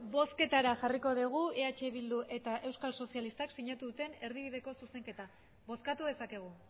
bozketara jarriko dugu eh bildu eta euskal sozialistak sinatu duten erdibideko zuzenketa bozkatu dezakegu